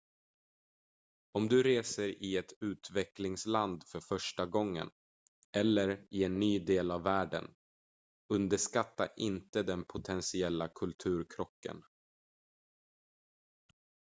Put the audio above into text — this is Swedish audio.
om du reser i ett utvecklingsland för första gången eller i en ny del av världen underskatta inte den potentiella kulturkrocken